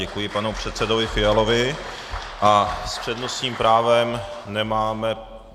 Děkuji panu předsedovi Fialovi a s přednostním právem nemáme...